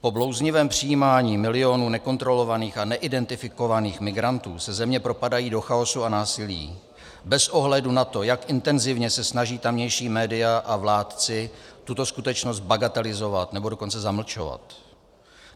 Po blouznivém přijímání milionů nekontrolovaných a neidentifikovaných migrantů se země propadají do chaosu a násilí bez ohledu na to, jak intenzivně se snaží tamější média a vládci tuto skutečnost bagatelizovat, nebo dokonce zamlčovat.